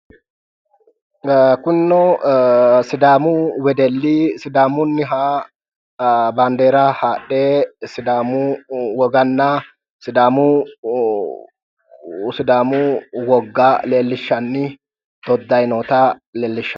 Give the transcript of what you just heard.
Kunino sidaamu wedelli sidaamunniha bandeera haadhe sidaamu woganna sidaamu wogga leellishshanni doddayi noota leellishshanno